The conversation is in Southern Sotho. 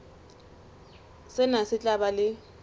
sena se tla ba le